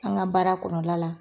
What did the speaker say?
An ka baara kɔnɔna la.